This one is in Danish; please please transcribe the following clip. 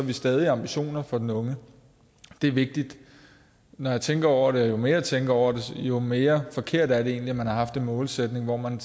vi stadig ambitioner for den unge det er vigtigt når jeg tænker over det og jo mere jeg tænker over det jo mere forkert er det egentlig at man har haft en målsætning hvor man